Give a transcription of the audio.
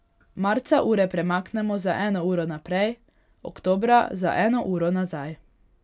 Marca ure premaknemo za eno uro naprej, oktobra za eno uro nazaj.